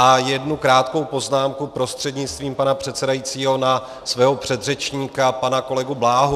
A jednu krátkou poznámku prostřednictvím pana předsedajícího na svého předřečníka pana kolegu Bláhu.